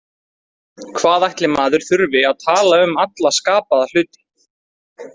Hvað ætli maður þurfi að tala um alla skapaða hluti